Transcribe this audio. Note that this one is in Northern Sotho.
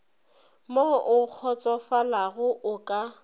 mo o kgotsofalago o ka